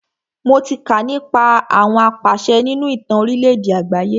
Mo tí kà nípa àwọn apàṣẹ nínú ìtàn orílẹ̀ àgbáyé.